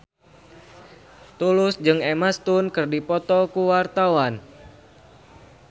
Tulus jeung Emma Stone keur dipoto ku wartawan